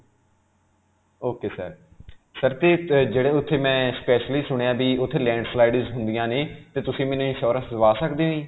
ok sir, sir 'ਤੇ ਤਤ ਜਿਹੜੇ ਉਥੇ ਮੈਂ specially ਸੁਣਿਆ ਕਿ ਉਥੇ landslides ਹੁੰਦੀਆਂ ਨੇ 'ਤੇ ਤੁਸੀਂ ਮੈਨੂੰ insurance ਦਵਾ ਸਕਦੇ ਹੋ ਜੀ?